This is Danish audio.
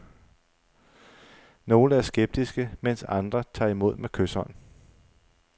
Nogle er skeptiske, mens andre tager imod med kyshånd.